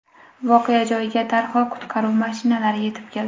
Voqea joyiga darhol qutqaruv mashinalari yetib keldi.